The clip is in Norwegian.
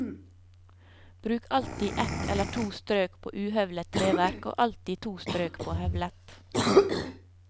Bruk alltid ett eller to strøk på uhøvlet treverk, og alltid to strøk på høvlet.